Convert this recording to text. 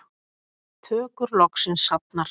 Tökur loksins hafnar